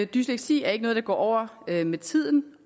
dysleksi er ikke noget der går over med med tiden